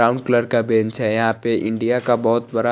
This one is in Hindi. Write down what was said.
ब्राउन कलर का बेंच है यहा पर इंडिया का बहुत बड़ा--